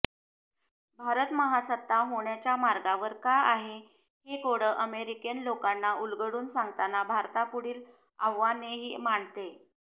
भारत महासत्ता होण्याच्या मार्गावर का आहे हे कोडं अमेरीकन लोकांना उलगडून सांगताना भारतापुढील आव्हानेही मांडते